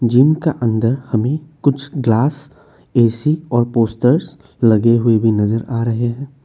Gym का अंदर हमें कुछ ग्लास ए_सी और पोस्टर्स लगे हुए भी नजर आ रहे हैं।